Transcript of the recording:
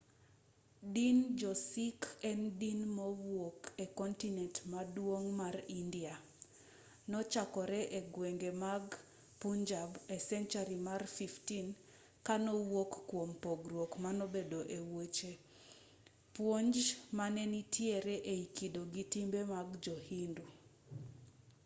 din jo-sikh en din mawuok e kontinent maduong' mar india nochakore e gwenge mag punjab e senchari mar 15 ka nowuok kuom pogruok manobedo e wech puonj mane nitiere ei kido gi timbe mag jo-hindu